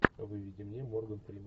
выведи мне морган фриман